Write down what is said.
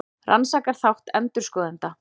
Rannsakar þátt endurskoðenda